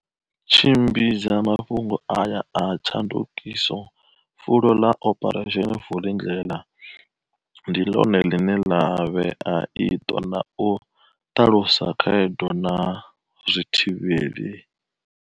Tshimbidza mafhungo aya a tshandukiso, fulo ḽa Operation Vulindlela ndi ḽone ḽine ḽa vhea iṱo na u ṱalusa khaedu na zwi thivheli.